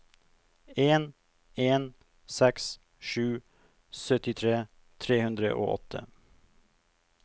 en en seks sju syttitre tre hundre og åtte